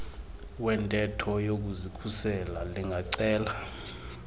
wentetho yokuzikhusela lingacela